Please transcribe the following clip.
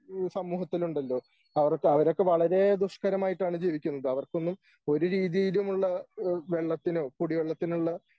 ഈ സമൂഹത്തിലുണ്ടല്ലോ? അവർക്ക് അവരൊക്കെ വളരെ ദുഷ്കരമായിട്ടാണ് ജീവിക്കുന്നത്. അവർക്കൊന്നും ഒരു രീതിയിലുമുള്ള ഏഹ് വെള്ളത്തിനോ കുടി വെള്ളത്തിനുള്ള